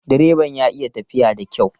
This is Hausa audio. Direban ya iya tafiya da kyau.